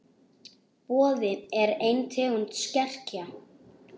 Boði: er ein tegund skerja.